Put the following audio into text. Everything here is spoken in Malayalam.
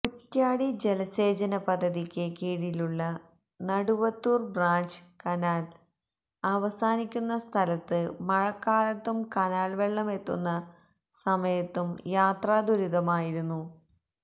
കുറ്റ്യാടി ജലസേചനപദ്ധതിക്ക് കീഴിലുള്ള നടുവത്തൂർ ബ്രാഞ്ച് കനാൽ അവസാനിക്കുന്ന സ്ഥലത്ത് മഴക്കാലത്തും കനാൽവെള്ളമെത്തുന്ന സമയത്തും യാത്രാദുരിതമായിരുന്നു